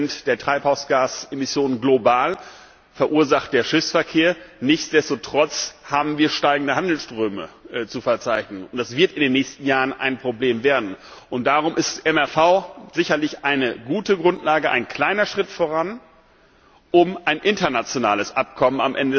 3 der Treibhausgasemissionen global verursacht der Schiffsverkehr. Nichtsdestotrotz haben wir steigende Handelsströme zu verzeichnen. Das wird in den nächsten Jahren ein Problem werden. Darum ist MRV sicherlich eine gute Grundlage, ein kleiner Schritt voran, um am Ende des Tages ein internationales Abkommen